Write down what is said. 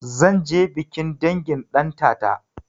Zanje bikin dangin ɗantata